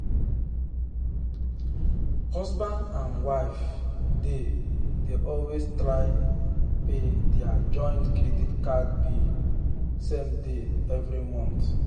husband and wife dey dey always try pay their joint credit card bill same day every month.